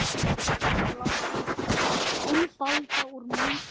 Ekki blása úlfalda úr mýflugu